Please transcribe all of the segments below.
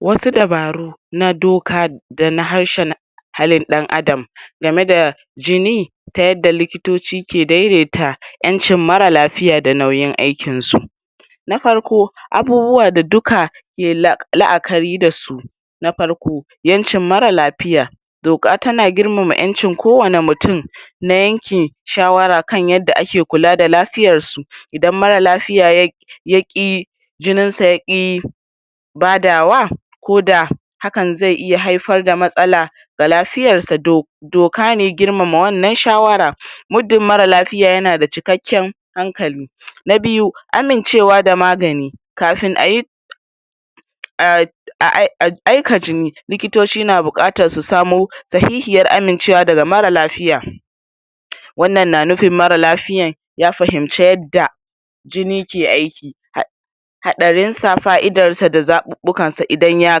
Wasu dabaru na doka dana harshana halin ɗan adam game da jini ta yadda likitoci ke daidaita ƴancin mara lafiya da nauyin aikin su na farko abubuwa da duka ke la'akari da su na farko incin mara lafiya doka tana girmama incin kowani mutum na yankin shawara kan yada ake kula da lafiyarsu idn mara lafiya yayi ya ki jininsa ya ki badawa ko da hakan ze iya haifar da matsala ga lafiyarsa do doka ne girmama wannan shawara mudin mara lafiya yana da cikaken hankali na biyu amincewa da magani kafin ayi uhm aika jini likitoci na bukatar su samo sahihiyar amincewa daga mara laiya wannan na nufin mara lafiyan ya fahimce yada jini ke aiki hatsarinsa, fa'idarsa da zaɓuɓukansa idan ya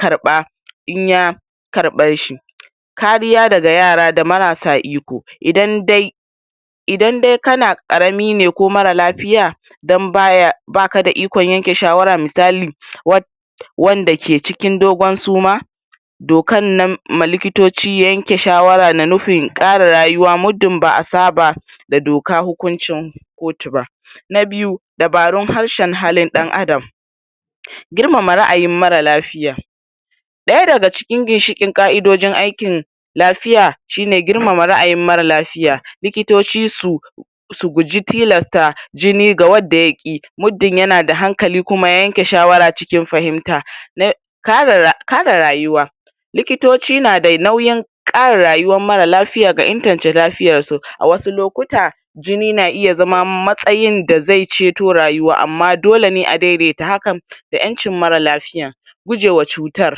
karɓa inya karɓe shi kariya daga yara da marasa iko idan dai idan dai kana ƙaramine ko mara lafiya dan baya bakada ikon yanke shawara misali wanda ke cikin dogon suma dokannan ma likitoci ya yanke shawara na nufin ƙara rayuwa mudin ba'a saba da dokan hukuncin kotu ba na byu, dabarun harshen halin ɗan adam girmama ra'ayin mara lafiya ɗaya daga cikin ginshikin ka'idojin aikin lafiya, shine girmama ra'ayin mara lafiya likitoci su su guji tilasta jini ga wada ya ki mudin yana da hankali kuma ya yanke shawara cikin fahimta kara kara rayuwa likitoci nada nauyin kara rayuwan mara lafiya da inganta lafiyarsu a wasu lokutan jini na iya zama matsayin da zai ceto rayuwa amma dole ne a daidaita hakan da ƴancin mara lafiya gujewa cutar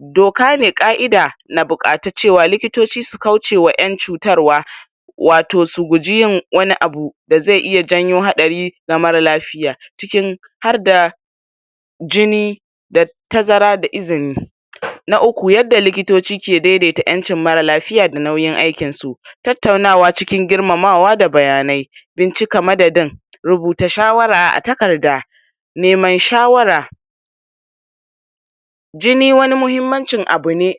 doka ne ka'ida na bukatacewa likitoci su kauce wa ƴan cutarwa wato su gujiyin wani abu da ze iya janyo hatsarin ga mara lafiya cikin har da jini da tazara da izini na uƙu yadda likitoci ke daidaita yancin mara lafiya da nauyin aikin su tattaunawa cikin girmamawa da bayanai dan cika madadin rubuta shawara a takarda neman shawara jini wani muhimmancin abu ne.